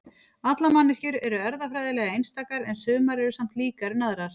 allar manneskjur eru erfðafræðilega einstakar en sumar eru samt líkari en aðrar